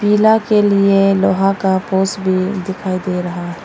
किला के लिए लोहा का पोस भी दिखाई दे रहा है।